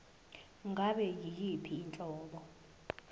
ngabe yiyiphi inhlobo